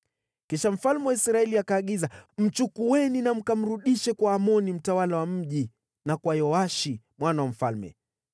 Kisha mfalme wa Israeli akaagiza, “Mchukueni na mkamrudishe kwa Amoni mtawala wa mji na kwa Yoashi mwana wa mfalme.